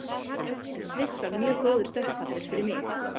En Sviss var mjög góður stökkpallur fyrir mig.